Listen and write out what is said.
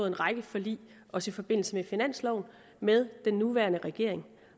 en række forlig også i forbindelse med finansloven med den nuværende regering